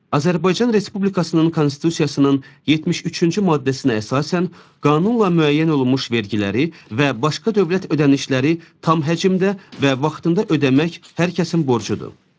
Azərbaycan Respublikasının Konstitusiyasının 73-cü maddəsinə əsasən qanunla müəyyən olunmuş vergiləri və başqa dövlət ödənişləri tam həcmdə və vaxtında ödəmək hər kəsin borcudur.